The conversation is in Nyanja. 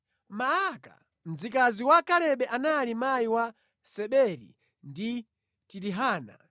Maaka mzikazi wa Kalebe anali mayi Seberi ndi Tirihana.